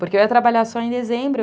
Porque eu ia trabalhar só em dezembro.